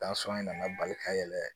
in nana bali ka yɛlɛ